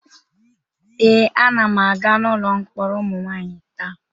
Ee, anam aga n'ụlọ mkpọrọ ụmụ nwanyị taa.